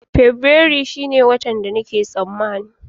Fabrairu shine watan da nake tsammani